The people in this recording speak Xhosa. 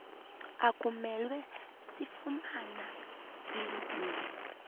asimelwe kufumana silibize